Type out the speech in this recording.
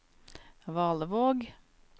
Valevåg